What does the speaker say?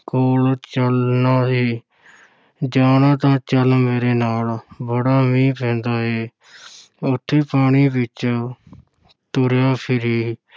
ਕੋਲ ਚੱਲਣਾ ਹੈ ਜਾਣਾ ਤਾਂ ਚੱਲ ਮੇਰੇ ਨਾਲ, ਬੜਾ ਮੀਂਹ ਪੈਂਦਾ ਏ ਉੱਥੇ ਪਾਣੀ ਵਿੱਚ ਤੁਰਿਆ ਫਿਰੀਂ।